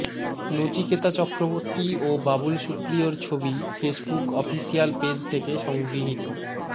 নচিকেতা চক্রবর্তী ও বাবুল সুপ্রিয়র ছবি ফেসবুক অফিসিয়াল পেজ থেকে সংগৃহীত